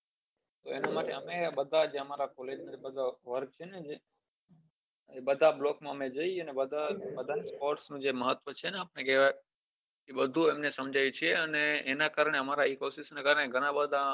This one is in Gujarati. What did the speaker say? બઘા જ આમારા college ના બઘા બ્લોક માં જીયે ને બઘા કોર્ષ નું મહત્વ છે બઘુ અમને સમજાય છે એના કારને એમના કઈને ઘણા બઘા